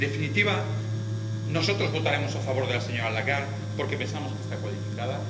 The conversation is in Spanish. En definitiva, nosotros votaremos a favor de la señora Lagarde, porque pensamos que está cualificada.